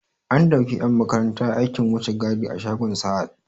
An dauki 'yan makaranta aikin wucin gadi a shagon Sahad.